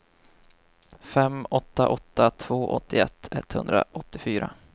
fem åtta åtta två åttioett etthundraåttiofyra